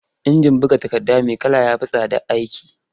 Injin buga takarda mai kala ya fi tsadar aiki.